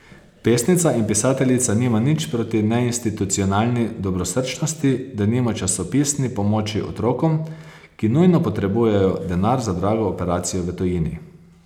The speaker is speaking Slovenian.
Pesnica in pisateljica nima nič proti neinstitucionalni dobrosrčnosti, denimo časopisni pomoči otrokom, ki nujno potrebujejo denar za drago operacijo v tujini.